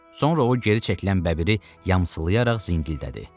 Sonra o geri çəkilən bəbiri yamsılayaraq zingildədi.